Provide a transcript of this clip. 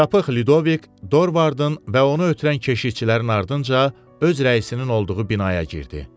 Çapıq Lidovik Dorvardın və onu ötürən keşişçilərin ardınca öz rəisinin olduğu binaya girdi.